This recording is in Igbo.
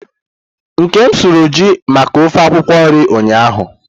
Nkem suru ju maka ofe akwukwo nri ụnyahụ.